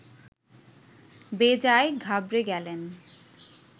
বেজায় ঘাবড়ে গেলেন